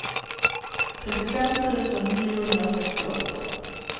trettiofem tusen niohundrasextioåtta